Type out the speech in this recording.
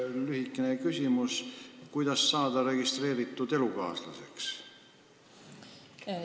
Lühikene küsimus: kuidas saada registreeritud elukaaslaseks?